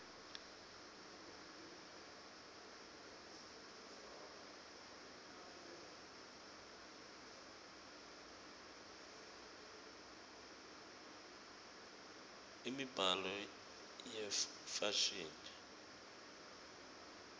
imibzalo yefashini